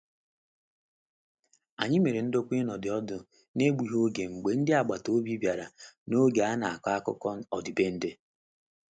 Anyị mere ndokwa ịnọdi ọdụ n'egbughị oge mgbe ndị agbata obi bịara n'oge a na-akọ akụkọ ọdịbendị.